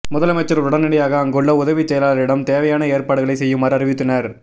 முதலமைச்சர் உடனடியாக அங்குள்ள உதவிச் செயலாளரிடம் தேவையான ஏற்பாடுகளை செய்யுமாறு அறிவுறுத்தினார்